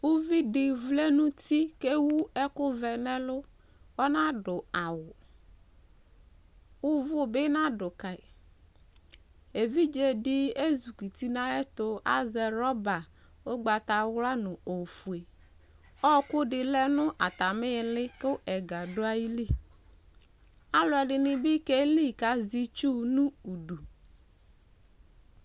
uvidi vlɛ nu uti ké wu ɛku vɛ nɛ ɛlu ɔnadu awu uvu bi nadu kayi évidzé di ézukuti na ayɛtu azɛ rɔba ugbata ẅla nu ofué ɔku di lɛ nu atami li ku ɛgă du ayili aluɛ dini bi kéli kazɛ itsu nu idu